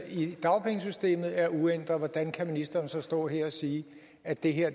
i dagpengesystemet er uændrede hvordan kan ministeren så stå her og sige at det her